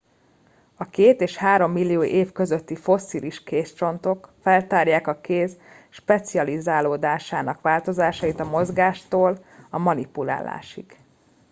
a két és három millió év közötti fosszilis kézcsontok feltárják a kéz specializálódásának változásait a mozgástól a manipulálásig